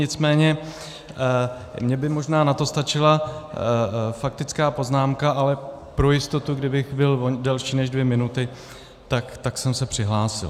Nicméně mně by možná na to stačila faktická poznámka, ale pro jistotu, kdybych byl delší než dvě minuty, tak jsem se přihlásil.